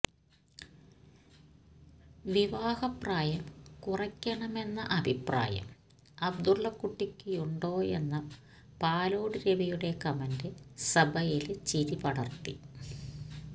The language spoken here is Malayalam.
വിവാഹ പ്രായം കുറക്കണമെന്ന അഭിപ്രായം അബ്ദുള്ള കുട്ടിക്കുണ്ടോയെന്ന പാലോട് രവിയുടെ കമന്റ് സഭയില് ചിരിപടര്ത്തി